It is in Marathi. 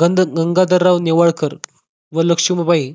गंगाधरराव नेवाळकर व लक्ष्मीबाई